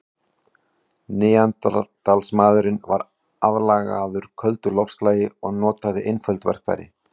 Neanderdalsmaðurinn var aðlagaður köldu loftslagi og notaði einföld verkfæri.